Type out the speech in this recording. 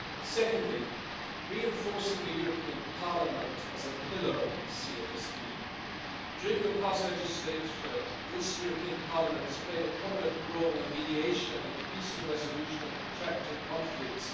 Secondly, reinforcing the European Parliament as a pillar of the CFSP during the past legislature, this European Parliament has played a prominent role in mediation in the peaceful resolution of protracted conflicts.